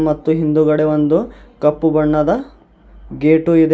ಮತ್ತು ಹಿಂದುಗಡೆ ಒಂದು ಕಪ್ಪು ಬಣ್ಣದ ಗೇಟು ಇದೆ.